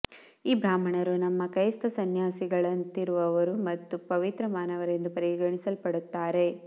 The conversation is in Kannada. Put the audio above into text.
ಈ ಬ್ರಾಹ್ಮಣರು ನಮ್ಮ ಕ್ರೈಸ್ತ ಸನ್ಯಾಸಿಗಳಂತಿರುವವರು ಮತ್ತು ಪವಿತ್ರ ಮಾನವರೆಂದು ಪರಿಗಣಿಸಲ್ಪಡುತ್ತಾರೆ